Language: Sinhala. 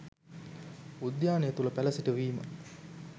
උද්‍යානය තුළ පැළ සිටුවීම